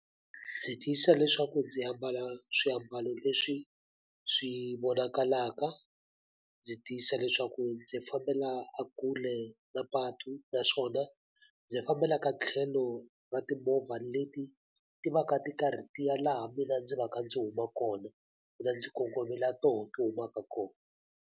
Ndzi tiyisisa leswaku ndzi ambala swiambalo leswi swi vonakalaka, ndzi tiyisisa leswaku ndzi fambela e kule na patu naswona ndzi fambela ka tlhelo ra timovha leti ti va ka ti karhi ti ya laha mina ndzi va ka ndzi huma kona, mina ndzi kongome laha tona ti humaka kona.